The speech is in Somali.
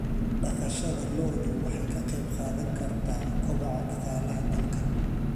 Dhaqashada lo'du waxay ka qayb qaadan kartaa kobaca dhaqaalaha dalka.